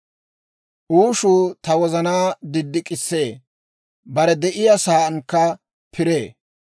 «Uushuu ta wozanaa diddik'issee; bare de'iyaa saankka piree.